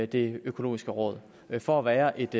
det økologiske råd for at være et